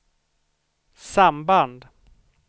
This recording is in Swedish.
samband